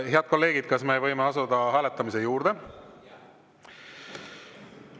Head kolleegid, kas me võime asuda hääletamise juurde?